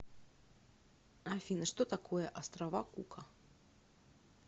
афина что такое острова кука